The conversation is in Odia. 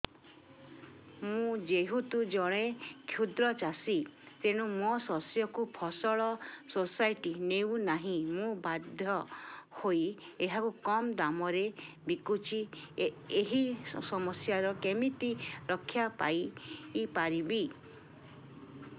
ମୁଁ ଯେହେତୁ ଜଣେ କ୍ଷୁଦ୍ର ଚାଷୀ ତେଣୁ ମୋ ଶସ୍ୟକୁ ଫସଲ ସୋସାଇଟି ନେଉ ନାହିଁ ମୁ ବାଧ୍ୟ ହୋଇ ଏହାକୁ କମ୍ ଦାମ୍ ରେ ବିକୁଛି ଏହି ସମସ୍ୟାରୁ କେମିତି ରକ୍ଷାପାଇ ପାରିବି